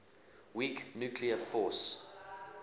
weak nuclear force